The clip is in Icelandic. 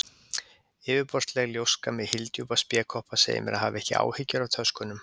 Yfirborðsleg ljóska með hyldjúpa spékoppa segir mér að hafa ekki áhyggjur af töskunum.